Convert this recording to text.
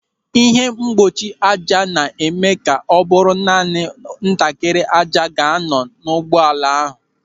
Ịhe mgbochi ájá na-eme ka ọ bụrụ naanị ntakịrị ájá ga-anọ n'ahụ ụgbọala.